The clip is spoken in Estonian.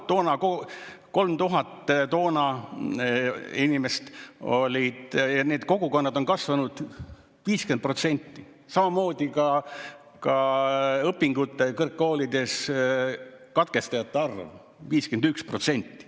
3000 inimest oli toona ja need kogukonnad on kasvanud 50%, samamoodi ka õpingud kõrgkoolides katkestanute arv, 51%.